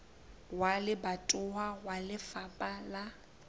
wa lebatowa wa lefapha la